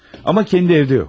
Amma kəndi evdə yox.